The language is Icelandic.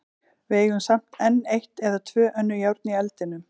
Við eigum samt enn eitt eða tvö önnur járn í eldinum.